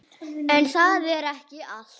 En það er ekki allt.